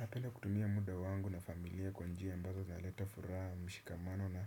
Napenda kutumia muda wangu na familia kwa njia ambazo zaleta furaha mishikamano na